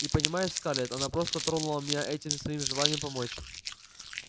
и понимаешь скарлетт она просто тронула меня этим своим желанием помочь